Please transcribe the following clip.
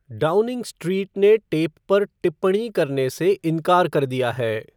Downing Street ने tape पर टिप्पणी करने से इनकार कर दिया है।